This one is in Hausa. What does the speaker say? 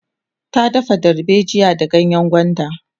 ta dafa dalbejiya da ganyengwanda